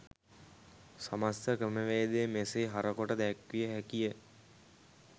සමස්ත ක්‍රමවේදය මෙසේ හර කොට දැක්විය හැකි ය.